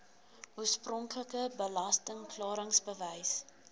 oorspronklike belasting klaringsbewys